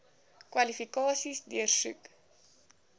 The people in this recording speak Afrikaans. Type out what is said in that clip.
kwalifikasies deursoek